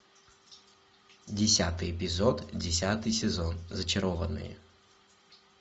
десятый эпизод десятый сезон зачарованные